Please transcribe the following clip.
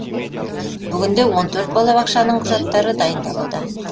бүгінде он төрт балабақшаның құжаттары дайындалуда